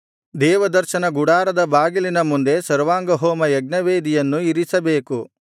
ದೇವದರ್ಶನ ಗುಡಾರದ ಬಾಗಿಲಿನ ಮುಂದೆ ಸರ್ವಾಂಗಹೋಮ ಯಜ್ಞವೇದಿಯನ್ನು ಇರಿಸಬೇಕು